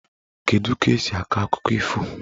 Kedu ka esi akọ akụkọ ifo?